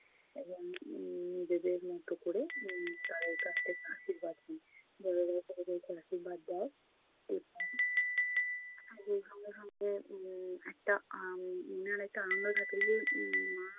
উম উম নিজেদের মতো কোরে উম তাদের কাছ থেকে আশীর্বাদ নিই। বড়রা ছোটদেরকে আশীর্বাদ দেয়। এবং তাদের সঙ্গে সঙ্গে উম একটা আহ উম মনের একটা আনন্দ থাকে যে মা